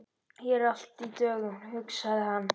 Hér er allt í dögun, hugsaði hann.